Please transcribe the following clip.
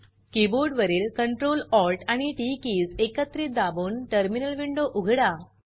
keyboard वरील Ctrl Alt आणि TT keys एकत्रित दाबून टर्मिनल विंडो उघडा